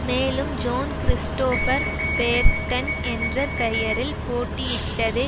மேலும் John Christopher Burton என்ற பெயரில் போட்டியிட்டதே